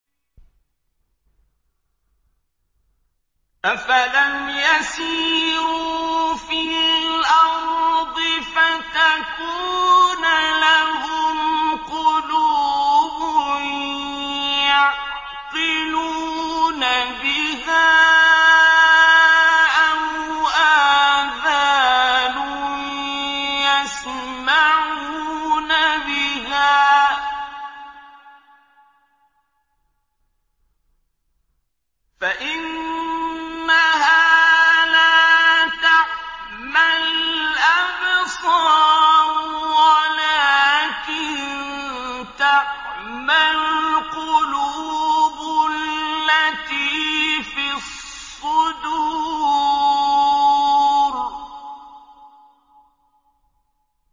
أَفَلَمْ يَسِيرُوا فِي الْأَرْضِ فَتَكُونَ لَهُمْ قُلُوبٌ يَعْقِلُونَ بِهَا أَوْ آذَانٌ يَسْمَعُونَ بِهَا ۖ فَإِنَّهَا لَا تَعْمَى الْأَبْصَارُ وَلَٰكِن تَعْمَى الْقُلُوبُ الَّتِي فِي الصُّدُورِ